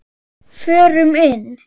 Förum inn.